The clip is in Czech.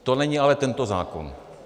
To není ale tento zákon.